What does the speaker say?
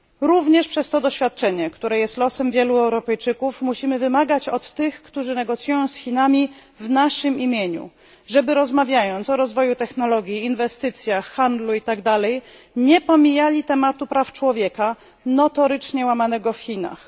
Również przez to doświadczenie, które jest losem wielu Europejczyków, musimy wymagać od tych, którzy negocjują z Chinami w naszym imieniu, żeby rozmawiając o rozwoju technologii, inwestycjach, handlu i tak dalej nie pomijali tematu praw człowieka notorycznie łamanych w Chinach.